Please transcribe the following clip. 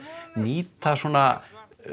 nýta svona